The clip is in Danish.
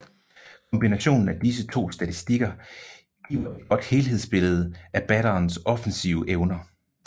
Kombinationen af disse to statistikker giver et godt helhedsbillede af batterens offensive evner